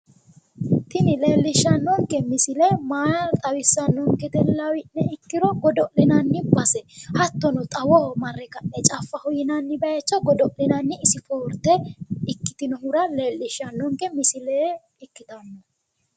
tini leellishshannonke misile maa xawissannonkete lawi'ne ikkiro godo'linanni base hattono xawoho marre ka'ne caffaho yinanni bayiicho godo'linanni spoorte ikitinohura leellishshannonke misile ikitanno